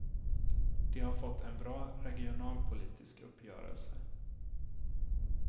De har fått en bra regionalpolitisk uppgörelse.